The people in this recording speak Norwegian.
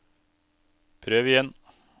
prøv igjen